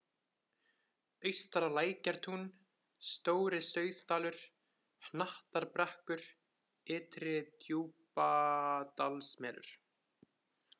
Austara-Lækjartún, Stóri-Sauðdalur, Hnattarbrekkur, Ytri-Djúpadalsmelur